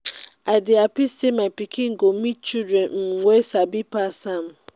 i dey happy say my pikin go meet um children um wey sabi pass am